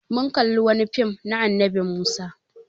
Mun kalla wani fim na annabi Musa.